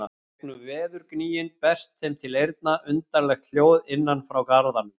Í gegnum veðurgnýinn berst þeim til eyrna undarlegt hljóð innan frá garðanum.